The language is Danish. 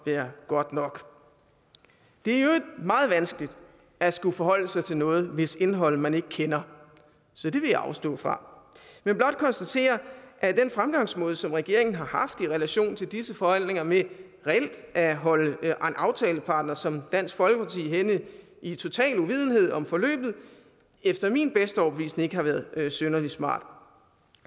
være godt nok det er i øvrigt meget vanskeligt at skulle forholde sig til noget hvis indhold man ikke kender så det vil jeg afstå fra men blot konstatere at den fremgangsmåde som regeringen har i relation til disse forhandlinger med reelt at holde en aftalepartner som dansk folkeparti hen i total uvidenhed om forløbet efter min bedste overbevisning ikke har været synderlig smart